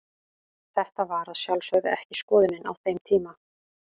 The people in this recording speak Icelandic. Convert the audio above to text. Þetta var að sjálfsögðu ekki skoðunin á þeim tíma.